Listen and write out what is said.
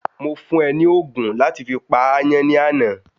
Mo fún é ni ogun láti fi pa àyàn ni àná